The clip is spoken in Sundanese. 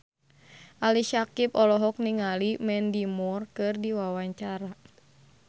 Ali Syakieb olohok ningali Mandy Moore keur diwawancara